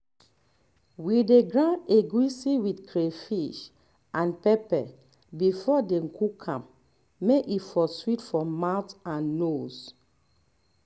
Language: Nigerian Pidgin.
we dey grind egusi with crayfish and pepper before dem cook am may e for sweet for mouth and nose